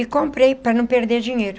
E comprei para não perder dinheiro.